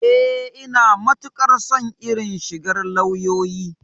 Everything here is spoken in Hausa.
Eh, Ina matukar son irin shigar lauyoyi.